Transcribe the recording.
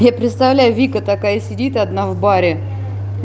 я представляю вика такая сидит одна в баре